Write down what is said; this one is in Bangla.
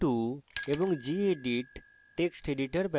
perl 5142 এবং